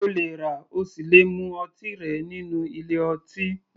O lè rà ,o sì le mu ọtí rẹ nínú ilé ọtí